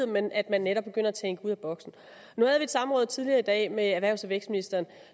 men at man netop begynder at tænke ud af boksen nu havde vi et samråd tidligere i dag med erhvervs og vækstministeren